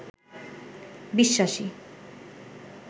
বিশ্বাসী